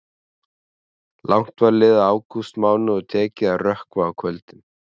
Langt var liðið á ágústmánuð og tekið að rökkva á kvöldin.